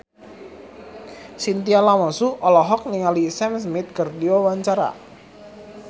Chintya Lamusu olohok ningali Sam Smith keur diwawancara